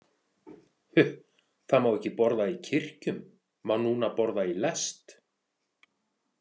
Huh, það má ekki borða í kirkjum, má núna borða í lest?